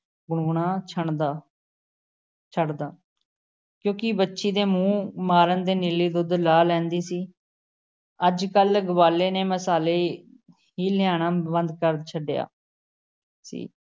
ਗੁਣਗੁਣਾ ਛੱਡਦਾ ਛੱਡਦਾ ਕਿਉਂਕਿ ਵੱਛੀ ਦੇ ਮੂੰਹ ਮਾਰਨ ਤੇ ਨੀਲੀ ਦੁੱਧ ਲਾਹ ਲੈਂਦੀ ਸੀ, ਅੱਜ-ਕੱਲ੍ਹ ਗਵਾਲ਼ੇ ਨੇ ਮਸਾਲੇ ਹੀ ਲਿਆਣਾ ਬੰਦ ਕਰ ਛੱਡਿਆ ਸੀ ।